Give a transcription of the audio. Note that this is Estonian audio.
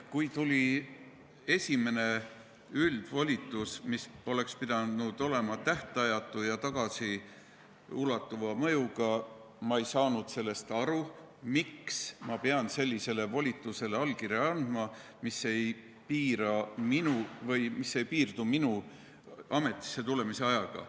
Kui tuli esimene üldvolitus, mis oleks pidanud olema tähtajatu ja tagasiulatuva mõjuga, ei saanud ma aru, miks ma pean andma allkirja sellisele volitusele, mis ei piirdu minu ametisse tulemise ajaga.